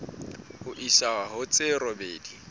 ho isa ho tse robedi